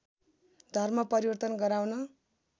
धर्म परिवर्तन गराउन